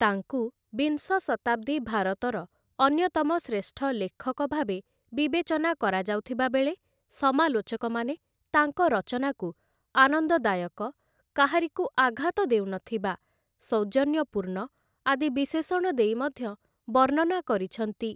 ତାଙ୍କୁ ବିଂଶ ଶତାବ୍ଦୀ ଭାରତର ଅନ୍ୟତମ ଶ୍ରେଷ୍ଠ ଲେଖକ ଭାବେ ବିବେଚନା କରାଯାଉଥିବା ବେଳେ, ସମାଲୋଚକମାନେ ତାଙ୍କ ରଚନାକୁ ଆନନ୍ଦଦାୟକ, କାହାରିକୁ ଆଘାତ ଦେଉନଥିବା, ସୌଜନ୍ୟପୂର୍ଣ୍ଣ ଆଦି ବିଶେଷଣ ଦେଇ ମଧ୍ୟ ବର୍ଣ୍ଣନା କରିଛନ୍ତି ।